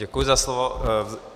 Děkuji za slovo.